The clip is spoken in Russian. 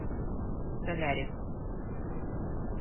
солярис